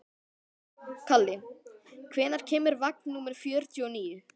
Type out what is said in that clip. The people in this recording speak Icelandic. Kalli, hvenær kemur vagn númer fjörutíu og níu?